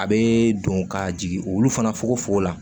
A bɛ don ka jigin olu fana fogofogo la